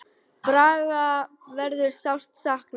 Braga verður sárt saknað.